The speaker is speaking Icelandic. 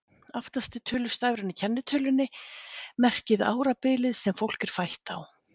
Aftasti tölustafurinn í kennitölunni merkir árabilið sem fólk er fætt á.